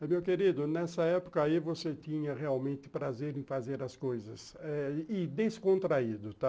Meu querido, nessa época aí você tinha realmente prazer em fazer as coisas e descontraído, tá?